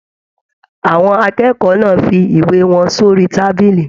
Àwọn akẹ́kọ̀ọ́ náà fí ìwé wọn sori tábìlì.